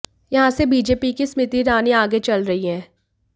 यहां से बीजेपी की स्मृति ईरानी आगे चल रही हैं